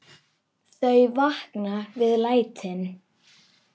Þau vakna við lætin.